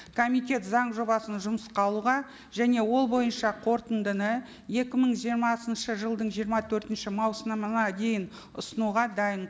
комитет заң жобасын жұмысқа алуға және ол бойынша қорытындыны екі мың жиырмасыншы жылдың жиырма төртінші маусымына дейін ұсынуға дайын